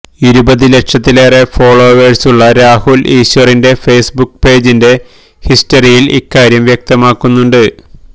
ഇരുപതി ലക്ഷത്തിലേറെ ഫോളേവേഴ്സുള്ള രാഹുല് ഈശ്വറിന്റെ ഫേസ്ബുക്ക് പേജിന്റെ ഹിസ്റ്ററിയില് ഇക്കാര്യം വ്യക്തമാക്കുന്നുണ്ട്